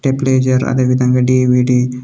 stabiliser అదేవిధంగా DVD --